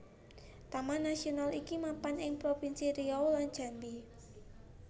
Taman Nasional iki mapan ing propinsi Riau lan Jambi